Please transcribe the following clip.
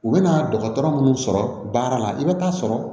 U bɛna dɔgɔtɔrɔ munnu sɔrɔ baara la i bɛ taa sɔrɔ